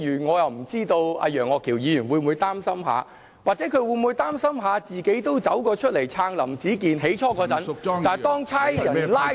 我不知道楊岳橋議員會否擔心，或是他會否擔心自己最初都走出來撐林子健，但當警察拘捕他後，他再不出來撐......